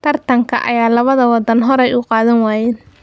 Tartanka ay labada waddan horey u qaadan waayeen.